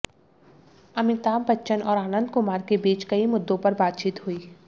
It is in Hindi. अमिताभ बच्चन और आनंद कुमार के बीच कई मुद्दों पर बातचीत हुई